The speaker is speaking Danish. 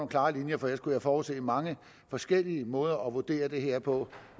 klare linjer for ellers kunne jeg forudse mange forskellige måder at vurdere det her på